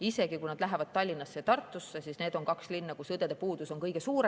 Isegi kui nad lähevad Tallinnasse või Tartusse, siis need on kaks linna, kus õdede puudus on kõige suurem.